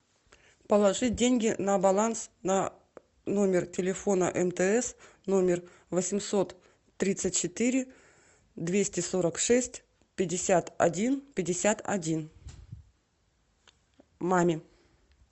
положить деньги на баланс на номер телефона мтс номер восемьсот тридцать четыре двести сорок шесть пятьдесят один пятьдесят один маме